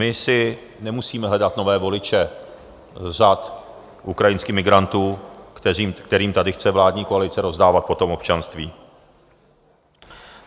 My si nemusíme hledat nové voliče z řad ukrajinských migrantů, kterým tady chce vládní koalice rozdávat potom občanství.